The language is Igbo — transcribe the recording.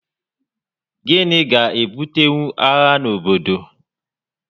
Gịnị ga-ebutenwu agha n'obodo?